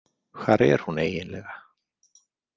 Hvar er hún eiginlega?